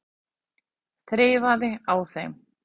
Þreifaði á þeim.